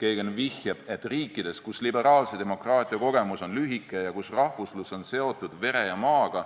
Kagan vihjab, et riikides, kus liberaalse demokraatia kogemus on lühike ja kus rahvuslus on seotud vere ja maaga,